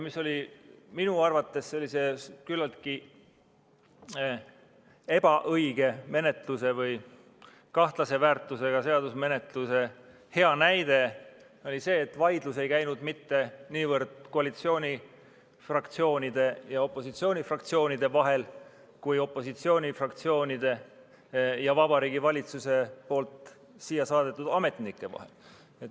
Minu arvates oli sellise küllaltki ebaõige menetluse või kahtlase väärtusega seadusmenetluse hea näide see, et vaidlus ei käinud mitte niivõrd koalitsioonifraktsioonide ja opositsioonifraktsioonide vahel kuivõrd opositsioonifraktsioonide ja Vabariigi Valitsuse saadetud ametnike vahel.